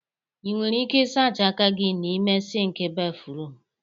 Ị nwere ike ịsacha aka gị n'ime sịnkị béfrụm.